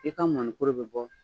I ka mɔnikɔlɔ bɛ bɔ